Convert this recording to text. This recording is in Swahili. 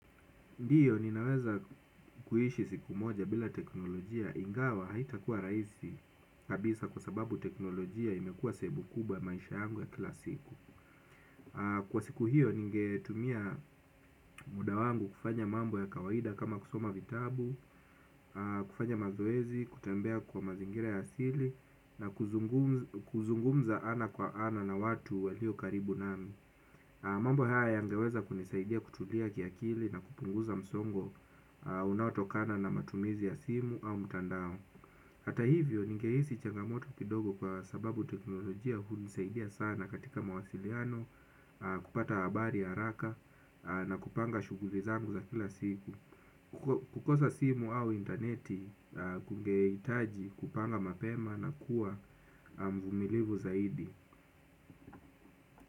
Ndiyo ninaweza kuhishi siku moja bila teknolojia ingawa haitakuwa raisi kabisa kwa sababu teknolojia imekua sehemu kubwa ya maisha yangu ya kila siku. Kwa siku hiyo ningetumia mudawangu kufanya mambo ya kawaida kama kusoma vitabu, kufanya mazoezi, kutembea kwa mazingira ya asili na kuzungumza ana kwa ana na watu waliyo karibu nami. Mambo haya yangeweza kunisaidia kutulia kiakili na kupunguza msongo unaotokana na matumizi ya simu au mtandao. Hata hivyo, ningeisi changamoto kidogo kwa sababu teknolojia unisaidia sana katika mawasiliano, kupata abari haraka na kupanga shuguli zangu za kila siku. Kukosa simu au interneti, kungeitaji kupanga mapema na kuwa mvumilivu zaidi.